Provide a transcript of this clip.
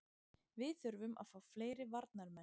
Við þurfum að fá fleiri varnarmenn.